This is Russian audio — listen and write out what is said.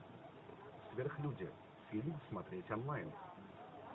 сверхлюди фильм смотреть онлайн